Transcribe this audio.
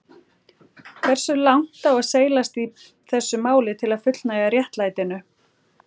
Hversu langt á seilast í þessu máli til að fullnægja réttlætinu?